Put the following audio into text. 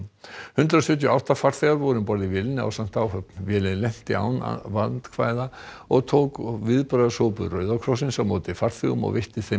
hundrað sjötíu og átta farþegar voru um borð í vélinni ásamt áhöfn vélin lenti án vandkvæða og tók viðbragðshópur Rauða krossins á móti farþegum og veitti þeim